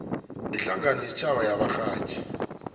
ihlangano yesitjhaba yabarhatjhi